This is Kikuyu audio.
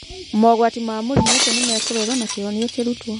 Mogwati ma mũrimũ ũcio nĩ mekũrorwo na kĩhonia kĩrutwo.